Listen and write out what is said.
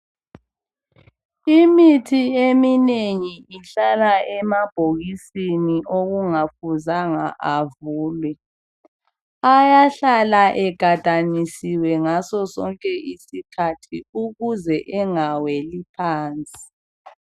Imithi eminengi ihlala amabhokisi okungafuzanga avulwe. Ayahlala egadanisiwe ngaso sonke isikhathi ukuze engaweli phansi.